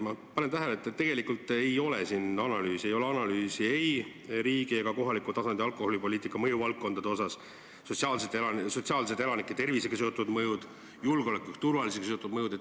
Ma panen tähele, et tegelikult ei ole siin analüüsi, ei ole ei riigi ega kohaliku tasandi alkoholipoliitika mõjuvaldkondade analüüsi, sotsiaalseid, elanike tervisega seotud mõjusid, julgeoleku ja turvalisusega seotud mõjusid.